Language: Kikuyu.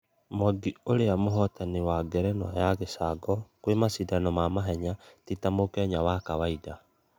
Mwangi ũrĩa ni mũhotani wa ngerenwa ya gĩcango kwĩ mashidano ma mahenya tĩ tà mukenya wa kawaida.